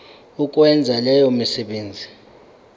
ukwenza leyo misebenzi